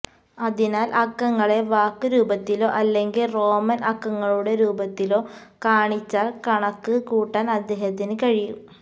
അതിനാൽ അക്കങ്ങളെ വാക്ക് രൂപത്തിലോ അല്ലെങ്കിൽ റോമൻ അക്കങ്ങളുടെ രൂപത്തിലോ കാണിച്ചാൽ കണക്ക് കൂട്ടാൻ അദ്ദേഹത്തിന് കഴിയും